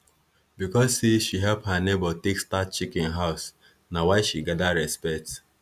because say she help her neighbor take start chicken house na why she gather respect